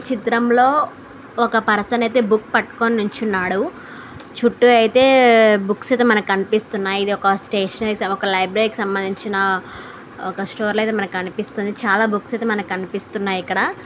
చిత్రంలో ఒక పర్సన్ అయితే బుక్ పట్టుకొని నిలుచున్నాడు. చుట్టూ అయితే బుక్స్ అయితే మనకి కనిపిస్తున్నాయి. ఇది ఒక స్టేషనరీ . ఒక లైబ్రరీ కి సంబంధించిన ఒక స్టోర్ లా అయితే కనిపిస్తుంది. చాలా బుక్స్ అయితే కనిపిస్తున్నాయి ఇక్కడ.